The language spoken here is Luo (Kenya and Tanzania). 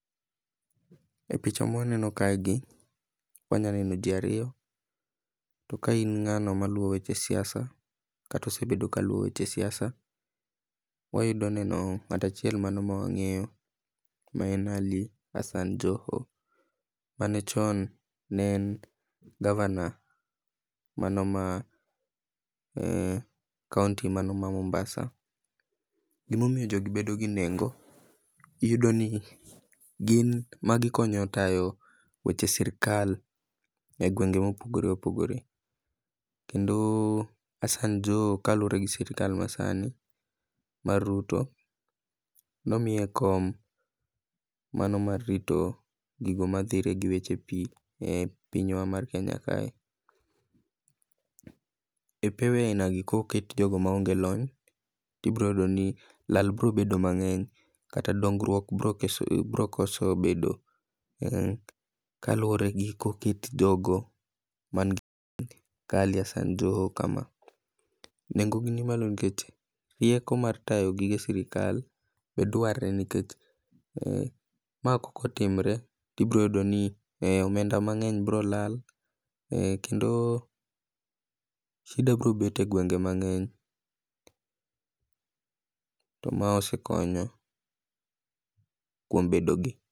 E picha mawaneno kaegi wanyaneno jii ariyo to kain ng'ano maluwo weche, kata osebedo kaluwo weche siasa, wayudo neno ng'at achiel mano mawang'eyo maen Ali Hassan Joho, mane chon ne en governor manoma county manoma Mombasa. Gimomiyo jodi bedo gi nengo, iyudoni gin magikonyo tayo weche sirikal e gwenge mopogore opogore, kendo Hassan Joho kalure gi sirkal masani mar Ruto, nomiye kom mano mar rito gigo madhire gi weche pii e pinywa mar Kenya kae. E pewe ainagi koket jogo maoge lony tibiroyudoni lal birobedo mang'eny kata dongruok birokoso bedo kaluore gi koket jogo manigi ka Ali Hassan Joho kama. Nengo gi mali nyikech rieko mar tayo gige sirikal be dwarre nikech, ma kokotimre tibiro yudoni omenda mang'eny biro lal kendo shida biro bet e gwenge mang'eny, to ma osekonyo kuom bedogi.